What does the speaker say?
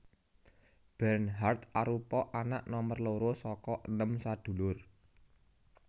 Bernhard arupa anak nomer loro saka enem sadulur